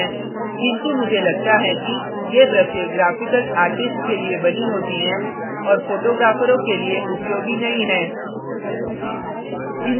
किन्तु मुझे लगता है कि ये ब्रशें graphical artists के लिए बनी होती हैं और photographers के लिए उपयोगी नहीं है